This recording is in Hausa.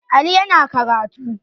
Ali yana karatu